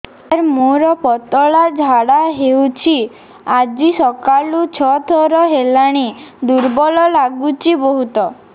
ସାର ମୋର ପତଳା ଝାଡା ହେଉଛି ଆଜି ସକାଳୁ ଛଅ ଥର ହେଲାଣି ଦୁର୍ବଳ ଲାଗୁଚି ବହୁତ